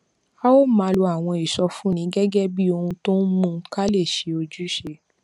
a ó máa lo àwọn ìsọfúnni gégé bí ohun tó ń mú ká lè ṣe ojúṣe